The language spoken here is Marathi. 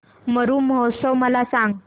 मरु महोत्सव मला सांग